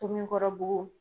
Tomikɔrɔbugu.